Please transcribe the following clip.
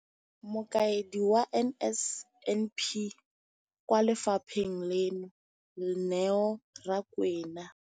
Mokaedi wa NSNP kwa lefapheng leno, Neo Rakwena,